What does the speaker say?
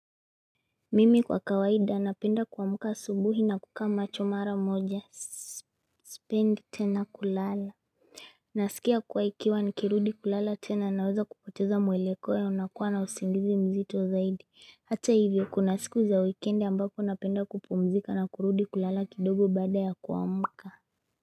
Mimi kwa kawaida napenda kuamka asubuhi na kukaa macho mara moja sipendi tena kulala. Nasikia kuwa ikiwa nikirudi kulala tena naweza kupoteza mwelekeo unaokuwa na usingizi mzito zaidi. Hata hivyo, kuna siku za wikendi ambapo napenda kupumzika na kurudi kulala kidogo baada ya kuamka.